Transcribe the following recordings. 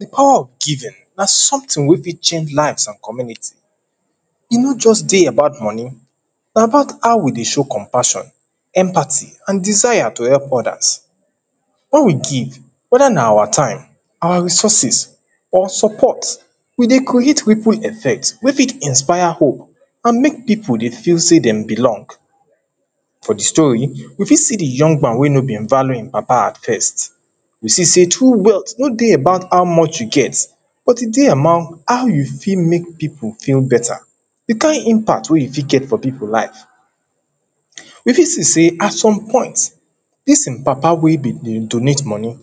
Di power of giving na something wey fit change lives and community E no just dey about money. Na about how we dey show compassion empathy and desire to help others. Wen we give weda na our time, our resources or support we create ripple effect wey fit inspire hope and make people dey feel sey dem belong For di story, we fit see di young man wey no been value im papa at first we sey true wealthy no dey among how much you get, but e dey among how you fit make people feel better di kind impact wey you fit get for people life. We fit see sey at some point dis im papa wey im be dey donate money,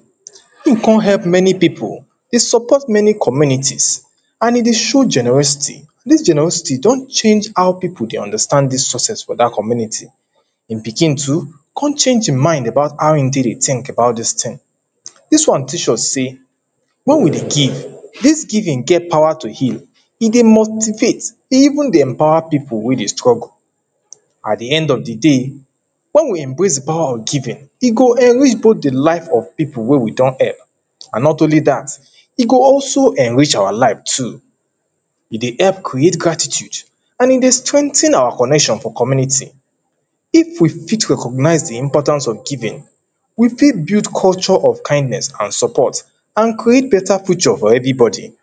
im come help many people e support many communities and e dey show generosity Dis generosity don change how people dey understand dis success for dat community Im pikin too come change im mind about how im take dey think about dis thing Dis one teach us sey, wen we dey give, dis giving get power to heal e dey motivate, e even dey empower people wey dey struggle At di end of di day wen we embrace di power of giving, e go enrich both di life of people wey we don help and not only dat, e go also enrich our life too E dey help create gratitude and e dey strengthen our connection for community If we fit recognize di importance of giving we fit culture of kindness and support and create better future for everybody